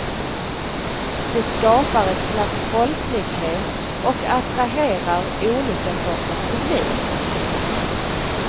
Det skapar ett slags folklighet och attraherar olika sorters publik.